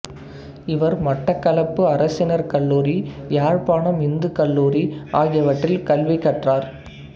இவர் மட்டக்களப்பு அரசினர் கல்லூரி யாழ்ப்பாணம் இந்துக் கல்லூரி ஆகியவற்றில் கல்வி கற்றார்